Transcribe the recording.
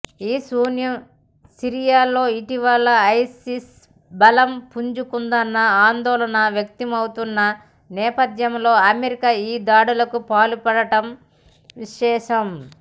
ఈశాన్య సిరియాలో ఇటీవల ఐసిస్ బలం పుంజుకుందన్న ఆందోళన వ్యక్తమవుతున్న నేపథ్యంలో అమెరికా ఈ దాడులకు పాల్పడటం విశేషం